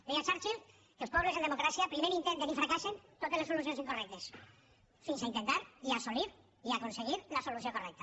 deia churchill que els pobles en democràcia primer intenten i fracassen totes les solucions incorrectes fins a intentar i assolir i aconseguir la solució correcta